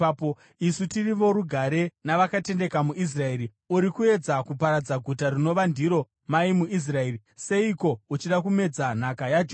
Isu tiri vorugare navakatendeka muIsraeri. Uri kuedza kuparadza guta rinova ndiro mai muIsraeri. Seiko uchida kumedza nhaka yaJehovha?”